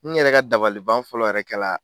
N yɛrɛ ka dabaliban fɔlɔ yɛrɛ kɛla.